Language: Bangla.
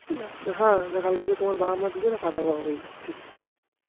হ্যাঁ কালকে তো তোমার বাবা মা দুজনেই পাতা বোয়া বয়ি করছিলো